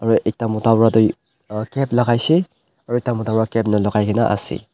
aro ekta mota pa toh cap lakaishey aro ekta mota pa cap nalakaina ase.